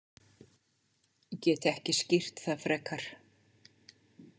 Get ekki skýrt það frekar.